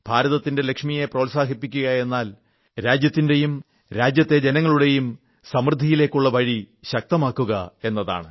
ഭാരതത്തിന്റെ ലക്ഷ്മിയെ പ്രോത്സാഹിപ്പിക്കുകയെന്നാൽ രാജ്യത്തിന്റെയും രാജ്യത്തെ ജനങ്ങളുടെയും സമൃദ്ധിയിലേക്കുള്ള വഴി ശക്തമാക്കുക എന്നതാണ്